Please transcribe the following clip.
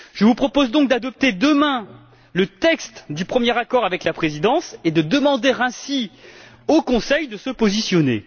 Je vous propose donc d'adopter demain le texte du premier accord avec la présidence et de demander ainsi au Conseil de se positionner.